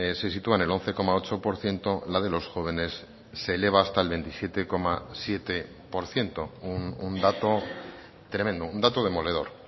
se sitúa en el once coma ocho por ciento la de los jóvenes se eleva hasta el veintisiete coma siete por ciento un dato tremendo un dato demoledor